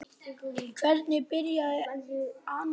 Hvernig byrjaði alnæmi?